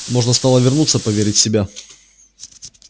можно стало вернуться проверить себя